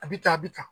A bɛ tan a bɛ tan